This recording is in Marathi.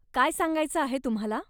काय सांगायचं आहे तुम्हाला?